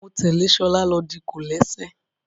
Mo tẹ́lẹ̀ ṣọlá lọ di kòlẹ́sẹ̀